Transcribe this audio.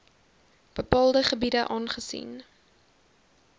bepaalde gebiede aangesien